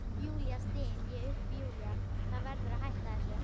Júlía, styn ég upp, Júlía, þú verður að hætta þessu.